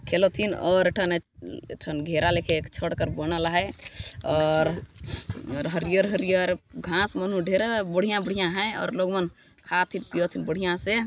खेलथिन और ए ठाने ए ठन घेरा लेखेक छड़ कर बनल आहय और और हरियर-हरियर घास मनो डेरा बढ़िया-बढ़िया है और लोगमन खात है पियत है बढ़िया से--